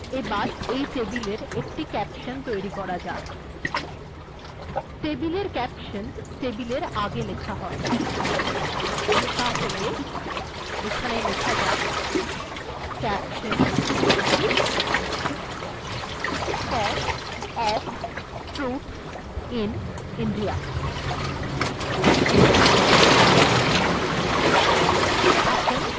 এখন এই টেবিলটির একটি ক্যাপশন্ তৈরী করা যাক টেবিল এর ক্যাপশন্ টেবিল এর আগে লেখা হয় তাহলে এখানে লেখা যাক caption cost of fruits in india